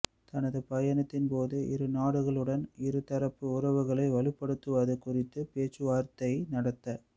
தனது பயணத்தின் போது இருநாடுகளுடனும் இருதரப்பு உறவுகளை வலுப்படுத்துவது குறித்து பேச்சுவார்த்தை நடத்த